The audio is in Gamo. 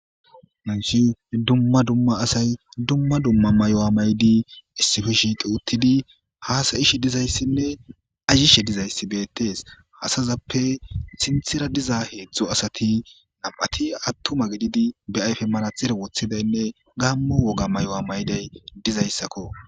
Hayssi dumma dumma asay dumma dumma mayo7a maydi issippe shiiqi uttidinne haasayishi dizayssinne ayyishe dizayssi beettes. Asazappe sinthera diza heedzdzo asati nam7ati attuma gididi be ayfe mara txere woththidaynne gaammo woga may7oa mayday dizayssakko.